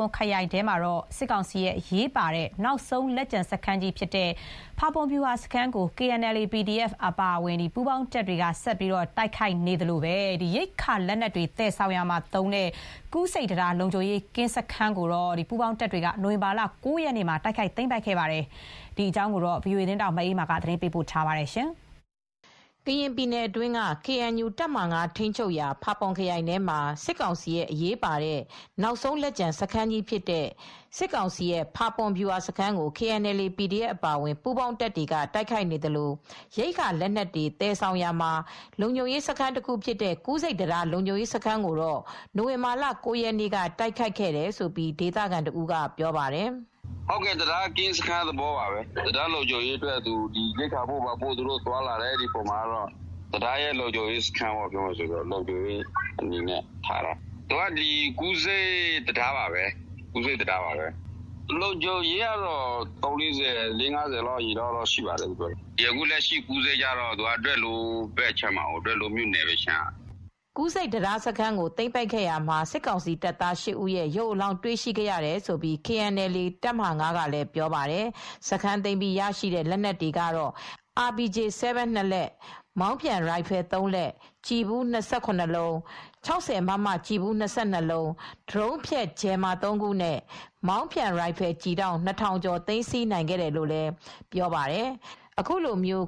ွန်ခရိုင်ထဲမှာ စစ်ကောင်စီရဲ့ အရေးပါတဲ့ နောက်ဆုံးလက်ကျန်စခန်းကြီးဖြစ်တဲ့ ဖာပွန်ဗျူဟာစခန်းကို KNLA /PDF အပါအဝင် ပူးပေါင်းတပ်တွေက တိုက်ခိုက် နေသလို ရိက္ခာလက်နက်တွေ သယ်ဆောင်ရာမှာလုံခြုံရေးစခန်းတခုဖြစ်တဲ့ ကူးဆိပ်တံတားလုံခြုံရေးစခန်းကိုတော့ နိုဝင်ဘာလက ၉ရက်နေ့က တိုက်ခိုက်သိမ်းပိုက်ခဲ့ပါတယ်။ ဒီသတင်းကို ဗွီအိုအေသတင်းထောက် မအေးအေးမာက သတင်းပေးပို့ထားပါတယ်။ ကရင်ပြည်နယ်အတွင်းကKNU တပ်မဟာ ၅ ထိန်းချုပ်ရာ ဖာပွန်ခရိုင်ထဲမှာ စစ်ကောင်စီရဲ့ အရေးပါတဲ့ နောက်ဆုံးလက်ကျန်စခန်းကြီး ဖြစ်တဲ့ ဖာပွန်ဗျူဟာစခန်းကို KNLA /PDF အပါအဝင် ပူးပေါင်းတပ်တွေက တိုက်ခိုက်နေသလို ရိက္ခာလက်နက်တွေသယ်ဆောင်ရာမှာ လုံခြုံရေးစခန်းတခုဖြစ်တဲ့ ကူးဆိပ်တံတား လုံခြုံရေးစခန်းကိုတော့ နိုဝင်ဘာလက ၉ ရက်နေ့က တိုက်ခိုက်ခဲ့တယ်လို့ ဒေသခံတဦးကပြောပါတယ်။ “တံတားကင်းစခန်း တခုပါပဲ တံတားမှာ ရိက္ခာပို့သွားတဲ့အခါမှာ တံတားရဲ့လုံခြုံရေးကင်းစခန်းတခုပါပဲ ကူးဆိပ်တံတားစခန်းကတော့ လုံခြုံရေး ကတော့ လေးငါးဆယ်လောက်ရှိပါတယ် ။အခုကူးဆိပ်ကတော့ ဒွယ်လိုးမြို့နယ်ဘက်အခြမ်းကပါ” ကူးဆိပ်တံတားစခန်းကိုသိမ်းပိုက်ရာမှာစစ်ကောင်စီတပ်သား ၈ ဦး ရုပ်အလောင်းတွေရရှိခဲ့တယ်လို့ KNLA တပ်မဟာ ၅ ကပြောပါတယ်။ စခန်းသိမ်းပြီးရရှိတဲ့ လက်နက်တွေကတော့ RPG-7(၂)လက်၊ မောင်းပြန်ရိုင်ဖယ်(၃)လက်၊ ကျည်ဖူး(၂၇)လုံး၊ ၆၀မမကျည်ဖူး(၂၂)လုံး၊ ဒရုန်းဖျက် ဂျယ်မာ(၃)ခုနဲ့ မောင်းပြန်ရိုင်ဖယ် ကျည်တောင့် (၂၀၀၀)ကျော်ကို သိမ်းဆည်းနိုင်ခဲ့တယ်လို့ဆိုပါတယ်။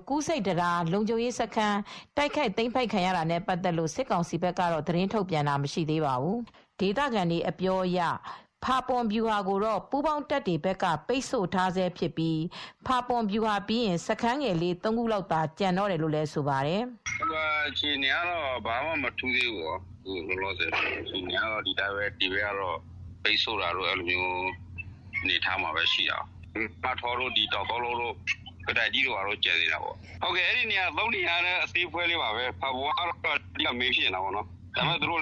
ကူးဆိပ်တံတားလုံခြုံးရေးစခန်း တိုက်ခိုက်ခံရတာနဲ့ ပတ်သက်လို့တော့ စစ်ကောင်စီဘက်က သတင်းထုတ်ပြန်တာမရှိသေးပါဘူး။ ဒေသခံတွေအပြောအရ ဖာပွန်ဗျူဟာကိုတော့ ပူးပေါင်းတပ်တွေဘက်က ပိတ်ဆို့ထားဆဲဖြစ်ပြီး ဖာပွန်ဗျူဟာပြီးရင် စခန်းငယ်လေး ၃ခုလောက်သာကျန်တော့တယ်လို့လည်းဆိုပါတယ်။ “ဗျူဟာအခြေအနေကတော့မထူးသေးဘူး။ အခုကတော့ ဒီဘက်(ပူးပေါင်းတပ်)ဘက်ကပိတ်ဆို့ထားတုန်းပါပဲ။ မထောတို့ တောင်သုံးလုံးစခန်း ကတိုင်ထိ စခန်းတွေတော့ရှိသေးတယ် အဲဒီ ၃နေရာတွေကလည်း အသေးလေးတွေပါပဲ ဖာပွန်ကတော့အဓိက မိန်းစခန်းပါပဲ အဲဒီနေရာတွေ သူတို့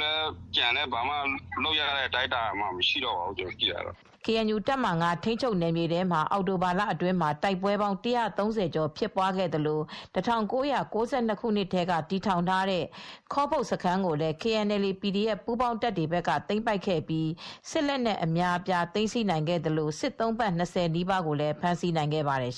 ကျန်လည်း ဘာမှာတော့လုပ်မရတော့ပါဘူး” ကေအန်ယူ တပ်မဟာ(၅)ထိန်းချုပ်နယ်မြေထဲမှာအောက်တိုဘာလအတွင်း မှာပဲ တိုက်ပွဲပေါင်း ၁၃၀ ကျော်ဖြစ်ပွားခဲ့သလို ၁၉၉၂ခုနှစ်ကတည်းက တည်ထောင်ထားတဲ့ ခေါပုတ်စခန်းကိုလည်း KNLA/PDF ပူးပေါင်းတပ်တွေဘက်က သိမ်းပိုက်ခဲ့ပြီး စစ်လက်နက်အများအပြား သိမ်းဆည်းနိုင်ခဲ့သလိုစစ်သုံ့ပန်း ၂၀ နီးပါးကို ဖမ်းဆီးနိုင်ခဲ့ပါတယ်